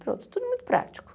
Pronto, tudo muito prático.